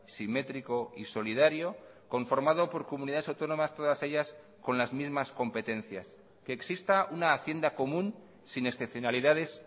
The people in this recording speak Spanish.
simétrico y solidario conformado por comunidades autónomas todas ellas con las mismas competencias que exista una hacienda común sin excepcionalidades